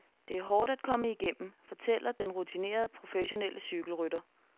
Det er hårdt at komme igennem, fortæller den rutinerede professionelle cykelrytter.